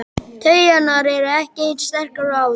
Taugarnar eru ekki eins sterkar og áður.